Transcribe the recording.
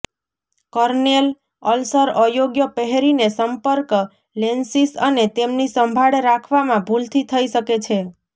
Cornell ulcer અયોગ્ય પહેરીને સંપર્ક લેન્સીસ અને તેમની સંભાળ રાખવામાં ભૂલથી થઈ શકે છે